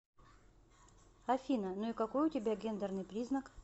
афина ну и какой у тебя гендерный признак